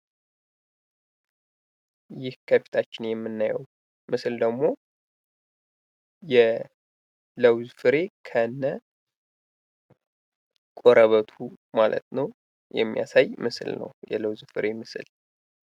ይህ ከፊታችን የምናየው ምስል ደግሞ የለዉዝ ፍሬ ከነቆረበቱ ማለት ነው። የሚያሳይ ምስል ነው። የለዉዝ ፍሬ ምስል።